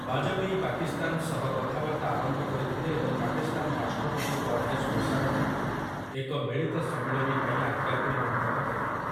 ବାଜପେୟୀ ପାକିସ୍ତାନ ସହ କଥାବାର୍ତ୍ତା ଆରମ୍ଭ କରିଥିଲେ ଏବଂ ପାକିସ୍ତାନ ରାଷ୍ଟ୍ରପତି ପରଭେଜ୍ ମୁଶାରଫ୍‌ଙ୍କୁ ଏକ ମିଳିତ ସମ୍ମିଳନୀ ପାଇଁ ଆଗ୍ରାକୁ ନିମନ୍ତ୍ରଣ କରିଥିଲେ ।